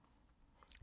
TV 2